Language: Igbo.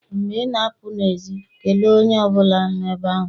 Mgbe ị na-apụ n'èzí kelee onye ọ bụla nọ ebe ahụ.